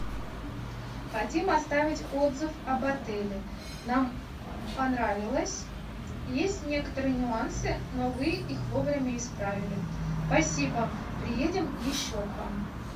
хотим оставить отзыв об отеле нам понравилось есть некоторые нюансы но вы их вовремя исправили спасибо приедем еще к вам